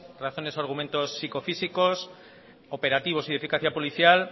razones o argumentos psicofísicos operativos y de eficacia policial